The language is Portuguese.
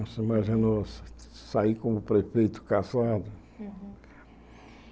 Você imaginou sair como prefeito cassado?